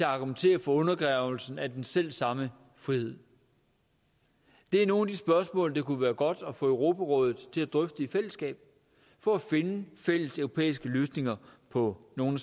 argumentere for undergravelsen af den selv samme frihed det er nogle af de spørgsmål det kunne være godt at få europarådet til at drøfte i fællesskab for at finde fælles europæiske løsninger på nogle